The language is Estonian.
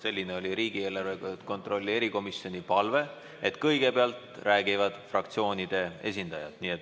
Selline oli riigieelarve kontrolli erikomisjoni palve, et kõigepealt räägivad fraktsioonide esindajad.